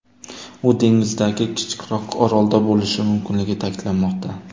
U dengizdagi kichikroq orolda bo‘lishi mumkinligi ta’kidlanmoqda.